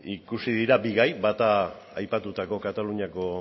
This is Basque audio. ikusi dira bi gai bata aipatutako kataluniako